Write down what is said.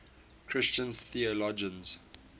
christian theologians